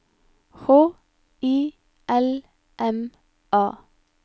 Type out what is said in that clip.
H I L M A